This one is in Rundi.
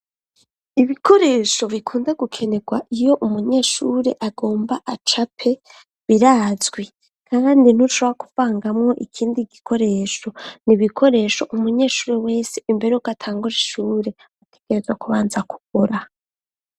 Ibikoresho bikunda gukenerwa iyo umunyeshure agomba acape birazwi kandi ntushobora kuvangamwo ikindi gikoresho ni ibikoresho umunyeshure wese imbere uko atangura ishure atekereza kubanza kugura.